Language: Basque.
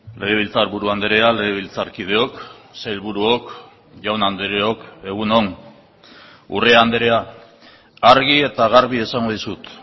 legebiltzarburu andrea legebiltzarkideok sailburuok jaun andreok egun on urrea andrea argi eta garbi esango dizut